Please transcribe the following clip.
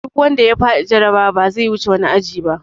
Duk wanda ya faɗi jarabawa ba zai wuce wani aji ba!